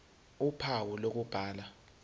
ph uphawu lokubhala